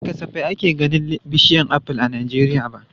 Ba kasafai ake ganin bishiyar aful a Najeriya ba.